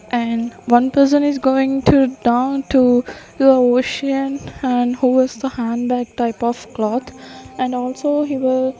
and one person is going to down to the ocean and who is the handbag type of cloth and also he will --